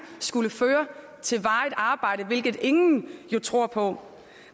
skulle føre til varigt arbejde hvilket ingen jo tror på